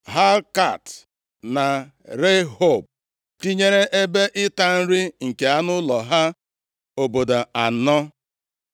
Helkat na Rehob, tinyere ebe ịta nri nke anụ ụlọ ha, obodo anọ.